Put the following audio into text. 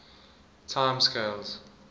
time scales